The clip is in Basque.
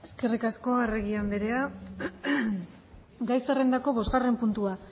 eskerrik asko arregi anderea gai zerrendako bosgarren puntua